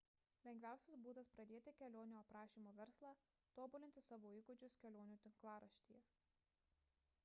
lengviausias būdas pradėti kelionių aprašymo verslą – tobulinti savo įgūdžius kelionių tinklaraštyje